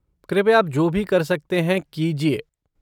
कृपया आप जो भी कर सकते हैं, कीजिए।